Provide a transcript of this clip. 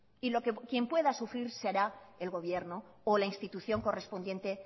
y quien pueda sufrir será el gobierno o la institución correspondiente